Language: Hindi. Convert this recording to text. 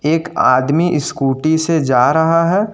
एक आदमी स्कूटी से जा रहा है।